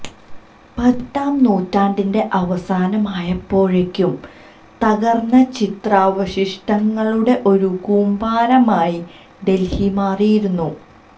പതിനെട്ടാം നൂറ്റാണ്ടിന്റെ അവസാനമായപ്പോഴേക്കും തകർന്ന ചരിത്രാവശിഷ്ടങ്ങളുടെ ഒരു കൂമ്പാരമായി ഡെൽഹി മാറിയിരുന്നു